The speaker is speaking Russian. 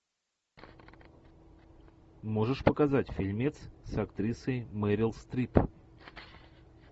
можешь показать фильмец с актрисой мерил стрип